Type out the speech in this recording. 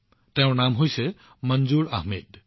তেওঁৰ নাম মনজুৰ আহমেদ